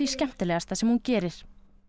skemmtilegasta sem hún gerir